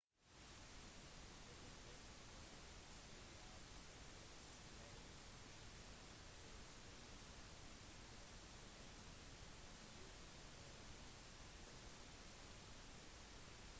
apple-direktør steve jobs avslørte enheten på scenen mens han tok iphone ut av lommen på buksen sin